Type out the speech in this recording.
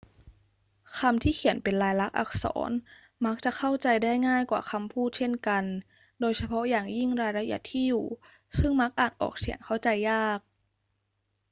คำที่เขียนเป็นลายลักษณ์อักษรมักจะเข้าใจได้ง่ายกว่าคำพูดเช่นกัน โดยเฉพาะอย่างยิ่งรายละเอียดที่อยู่ ซึ่งมักอ่านออกเสียงเข้าใจยาก